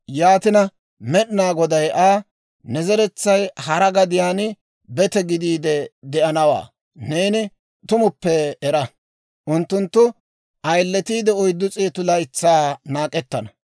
Yaatina Med'inaa Goday Aa, «Ne zeretsay hara gadiyaan bete gidiide de'anawaa neeni tumuppe era; unttunttu ayiletiide oyddu s'eetu laytsaa naak'ettana.